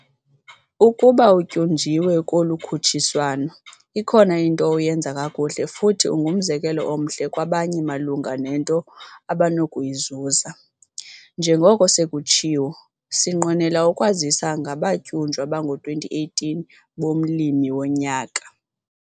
Ukuba utyunjiwe kolu khutshiswano, ikhona into oyenza kakuhle futhi ungumzekelo omhle kwabanye malunga nento abanokuyizuza. Njengoko sekutshiwo, sinqwenela ukukwazisa ngabatyunjwa bango-2018 bomLimi woNyaka!